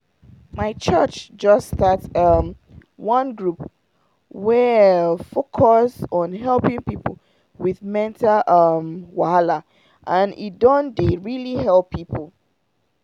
my church just start um one group wey focus on helping people with mental um wahala and e don dey really heal people.